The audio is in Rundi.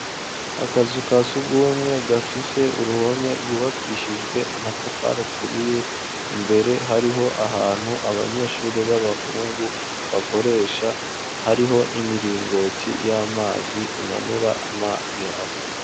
Akazu ka surwumwe gafise uruhome rwubakishijwe amatafari aturiye, imbere hariho ahantu abanyeshuri b'abahungu bakoresha, hariho n'imiringoti y'amazi imanura amazi hasi.